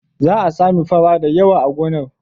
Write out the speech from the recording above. Za a sami fara da yawa a gonar.